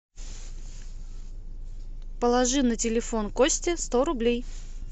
положи на телефон кости сто рублей